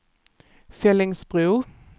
Fellingsbro